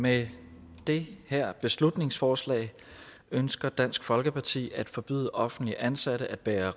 med det her beslutningsforslag ønsker dansk folkeparti at forbyde offentligt ansatte at bære